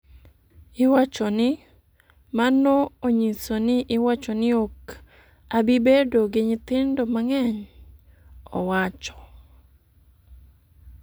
iwachoni: ‘Mano onyiso ni iwacho ni ok abi bedo gi nyithindo mang'eny.’”owacho